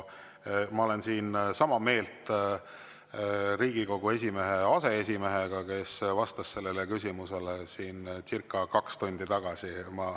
Ma olen sama meelt Riigikogu esimese aseesimehega, kes vastas sellele küsimusele siin circa kaks tundi tagasi.